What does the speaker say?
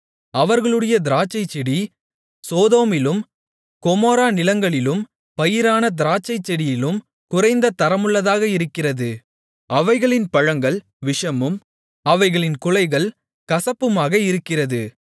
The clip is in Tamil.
அவர்களுடைய திராட்சைச்செடி சோதோமிலும் கொமோரா நிலங்களிலும் பயிரான திராட்சைச்செடியிலும் குறைந்த தரமுள்ளதாக இருக்கிறது அவைகளின் பழங்கள் விஷமும் அவைகளின் குலைகள் கசப்புமாக இருக்கிறது